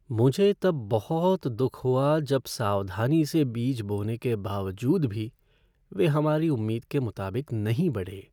मुझे तब बहुत दुख हुआ जब सावधानी से बीज बोने के बावजूद भी वे हमारी उम्मीद के मुताबिक नहीं बढ़े।